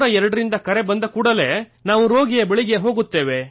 102 ರಿಂದ ಕರೆ ಬಂದ ಕೂಡಲೇ ನಾವು ರೋಗಿಯ ಬಳಿಗೆ ಹೋಗುತ್ತೇವೆ